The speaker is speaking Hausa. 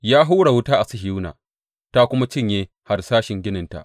Ya hura wuta a Sihiyona ta kuma cinye harsashin gininta.